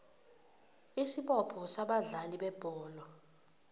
isibopho sabadlali bebholo